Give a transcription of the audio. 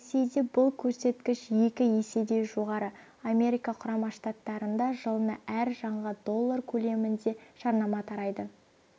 ресейде бұл көрсеткіш екі еседей жоғары америка құрама штаттарында жылына әр жанға доллар көлемінде жарнама тарайды